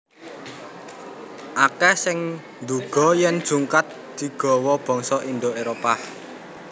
Akèh sing nduga yèn jungkat digawa bangsa Indo Éropah